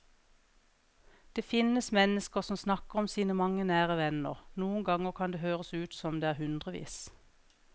Det finnes mennesker som snakker om sine mange nære venner, noen ganger kan det høres ut som om det er hundrevis.